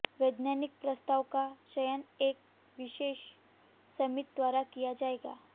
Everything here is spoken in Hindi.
वैज्ञानिक प्रस्तावों का चयन एक विशेषज्ञ समिति द्वारा किया जाएगा